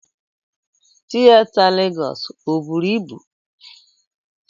Tieta Legọs o bụrụ ịbụ?